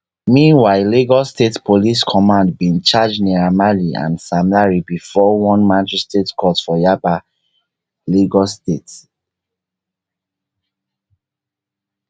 meanwhile lagos state police command bin charge naira marley and sam larry bifor one magistrate court for yaba lagos state